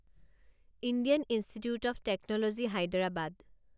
Indian institute of technology Hyderabad